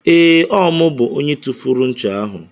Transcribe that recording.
Ee, Ọ mụ bụ onye tufuru ncha ahụ.